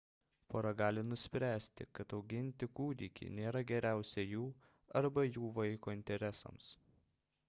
pora gali nuspręsti kad auginti kūdikį nėra geriausia jų arba jų vaiko interesams